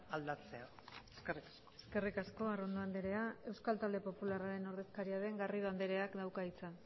aldatzea eskerrik asko eskerrik asko arrondo andrea euskal talde popularraren ordezkaria den garrido andreak dauka hitza